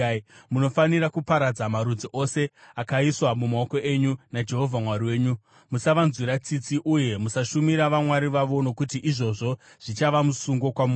Munofanira kuparadza marudzi ose akaiswa mumaoko enyu naJehovha Mwari wenyu. Musavanzwira tsitsi uye musashumira vamwari vavo nokuti izvozvo zvichava musungo kwamuri.